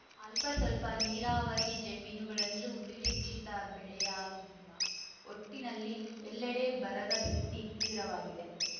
ಅಲ್ಪಸ್ವಲ್ಪ ನೀರಾವರಿ ಜಮೀನುಗಳಲ್ಲೂ ನಿರೀಕ್ಷಿತ ಬೆಳೆಯಾಗಿಲ್ಲ ಒಟ್ಟಿನಲ್ಲಿ ಎಲ್ಲೆಡೆ ಬರದ ಸ್ಥಿತಿ ತೀವ್ರವಾಗಿದೆ